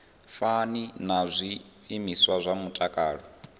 fani na zwiimiswa zwa mutakalo